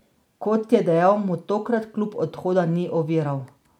Kot je dejal, mu tokrat klub odhoda ni oviral.